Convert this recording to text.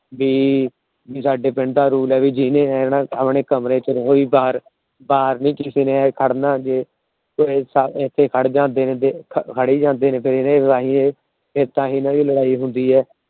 ਵੀ ਸਾਡੇ ਪਿੰਡ ਦਾ Rule ਹੇਗਾ। ਜਿਹਨੇ ਆਉਣਾ ਆਪਣੇ ਕਮਰੇ ਚ ਰਹੇ ਬਾਹਰ ਨਹੀਂ ਕਿਸੇ ਨੇ ਆ ਖੜਨਾ। ਤਾਹਿ ਹੀ ਹਨ ਦੀ ਲੜਾਈ ਹੁੰਦੀ ਏ।